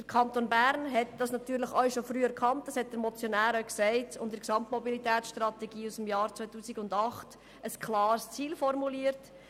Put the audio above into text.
Der Kanton Bern hat das auch schon früh erkannt und in der Gesamtmobilitätsstrategie aus dem Jahr 2008 ein klares Ziel formuliert: